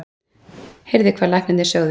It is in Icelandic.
Heyrði hvað læknarnir sögðu.